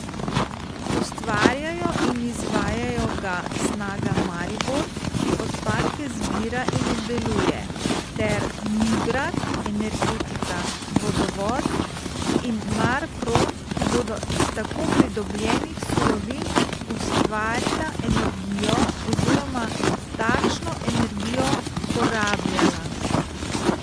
Ustvarjajo in izvajajo ga Snaga Maribor, ki odpadke zbira in obdeluje, ter Nigrad, Energetika, Vodovod in Marprom, ki bodo iz tako pridobljenih surovin ustvarila energijo oziroma takšno energijo porabljala.